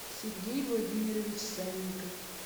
сергей владимирович санников